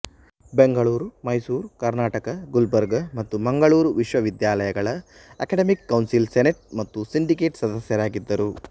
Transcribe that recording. ಬೆಂಗಳೂರು ಮೈಸೂರು ಕರ್ನಾಟಕ ಗುಲ್ಬರ್ಗಾ ಮತ್ತು ಮಂಗಳೂರು ವಿಶ್ವವಿದ್ಯಾಲಯಗಳ academic council senate ಮತ್ತು ಸಿಂಡಿಕೇಟ್ ಸದಸ್ಯರಾಗಿದ್ದರು